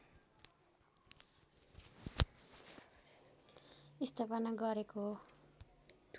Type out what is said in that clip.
स्थापना गरेको हो